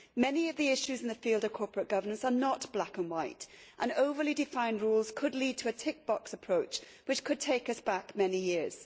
Many of the issues in the field of corporate governance are not black and white and overly defined rules could lead to a tick box approach, which could take us back many years.